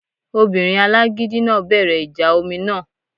Obìnrin alágídí náà bẹ̀rẹ̀ ìjà omi náà